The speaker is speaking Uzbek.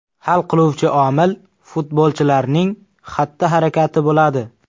Hal qiluvchi omil futbolchilarning xatti-harakati bo‘ladi.